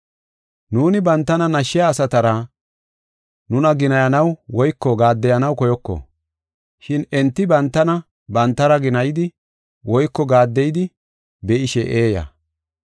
Nuuni bantana nashshiya asatara nuna ginayanaw woyko gaaddeyanaw koyoko. Shin enti bantana bantara ginayidi woyko gaaddeyidi be7ishe eeya.